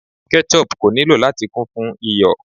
Ketchup ko nilo lati kun fun iyọ̀